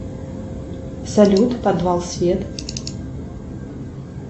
салют подвал свет